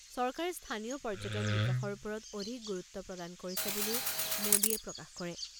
চৰকাৰে স্থানীয় পৰ্যটন বিকাশৰ ওপৰত অধিক গুৰুত্ব প্ৰদান কৰিছে বুলিও মোডীয়ে প্ৰকাশ কৰে।